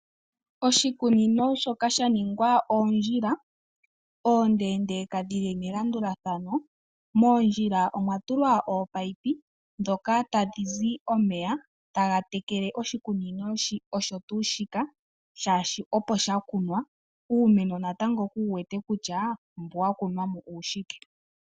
Oshikunino shoka sha ningwa oondjila ondeendeka dhili melandulathano, moondjila omwa tulwa oopayipi dhoka tadhi zi omeya taga tekele oshikunino osho tuu shika shaashi opo shakunwa uumeno natango ku wuwete kutya mbu wa kunwa mo uushike.